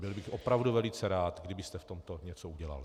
Byl bych opravdu velice rád, kdybyste v tomto něco udělal.